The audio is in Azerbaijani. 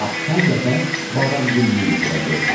Lap son dəfə badamgülünü yuxuda gördüm.